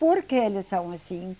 Por que eles são assim?